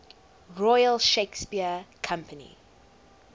royal shakespeare company